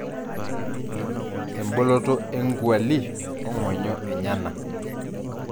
eboloto e engwali ongonyo enyana.